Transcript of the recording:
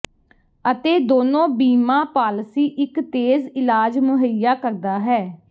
ਅਤੇ ਦੋਨੋ ਬੀਮਾ ਪਾਲਿਸੀ ਇੱਕ ਤੇਜ਼ ਇਲਾਜ ਮੁਹੱਈਆ ਕਰਦਾ ਹੈ